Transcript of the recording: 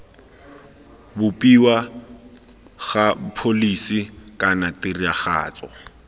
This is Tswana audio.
bopiwa ga pholisi kana tiragatso